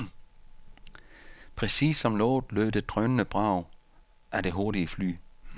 Præcis som lovet lød det drønende brag af det hurtige fly.